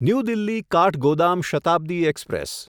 new Delhi Kathgodam Shatabdi express